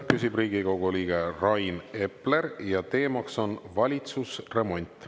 Küsib Riigikogu liige Rain Epler ja teemaks on valitsusremont.